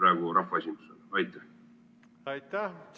Aitäh!